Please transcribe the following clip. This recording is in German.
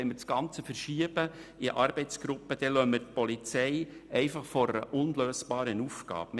Wenn wir das Ganze in Arbeitsgruppen verschieben, lassen wir die Polizei vor einer unlösbaren Aufgabe.